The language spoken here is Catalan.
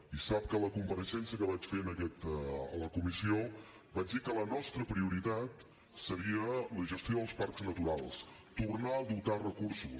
i sap que a la compareixença que vaig fer a la comissió vaig dir que la nostra prioritat seria la gestió dels parcs naturals tornar a dotar recursos